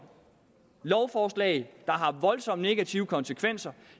lovforslag der har voldsomt negative konsekvenser